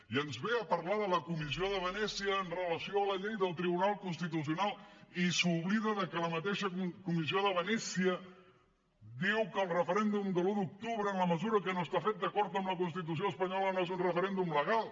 i ens ve a parlar de la comissió de venècia amb relació a la llei del tribunal constitucional i s’oblida de que la mateixa comissió de venècia diu que el referèndum de l’un d’octubre en la mesura que no està fet d’acord amb la constitució espanyola no és un referèndum legal